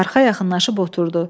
Arxaya yaxınlaşıb oturdu.